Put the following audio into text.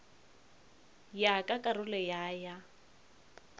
ya ka karolo ya ya